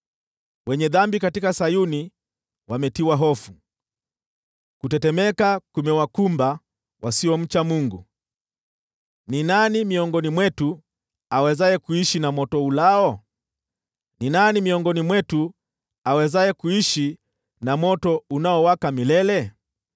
Wenye dhambi katika Sayuni wametiwa hofu, kutetemeka kumewakumba wasiomcha Mungu: “Ni nani miongoni mwetu awezaye kuishi na moto ulao? Ni nani miongoni mwetu awezaye kuishi na moto unaowaka milele?”